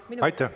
Aitäh!